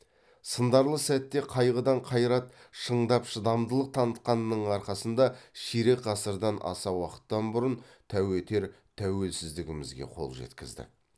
сындарлы сәттерде қайғыдан қайрат шыңдап шыдамдылық танытқанның арқасында ширек ғасырдан аса уақыттан бұрын тәу етер тәуелсіздігімізге қол жеткіздік